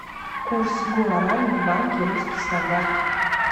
курс гуарани в банке русский стандарт